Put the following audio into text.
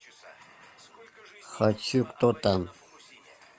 хочу кто там